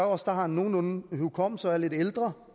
os der har nogenlunde hukommelse og er lidt ældre